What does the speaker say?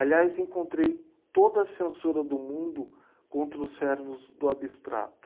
Aliás, encontrei toda a censura do mundo contra os servos do abstrato.